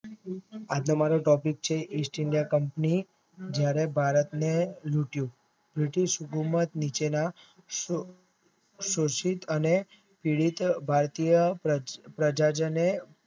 આજનો મારો ટોપિક છે East India Company જયારે ભારતને લુંટ્યું બ્રિટિશ ઉમટી નીચેના શોષીક અને તે રીતે ભારતિય પ્રજાજનો